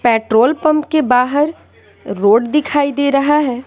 Petrol pump के बाहर road दिखाई दे रहा है।